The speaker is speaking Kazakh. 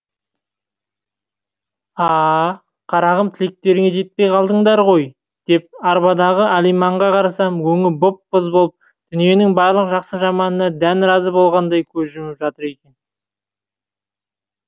а а қарағым тілектеріңе жетпей қалдыңдар ғой деп арбадағы алиманға қарасам өңі боп боз болып дүниенің барлық жақсы жаманына дән разы болғандай көз жұмып жатыр екен